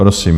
Prosím.